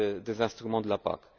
des instruments de la